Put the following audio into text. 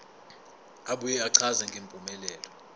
abuye achaze ngempumelelo